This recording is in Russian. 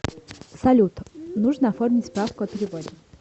салют нужно оформить справку о переводе